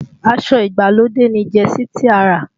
Aṣọ ìgbàlódé ni jẹsí tí a rà